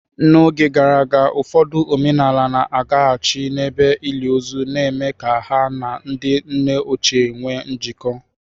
N'oge gara aga, ụfọdụ omenala na-agaghachi n'ebe ili ozu, na-eme ka ha na ndị nna ochie nwee njikọ.